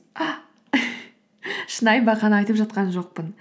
шынайы бақаны айтып жатқан жоқпын